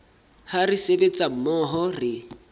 ha re sebetsa mmoho re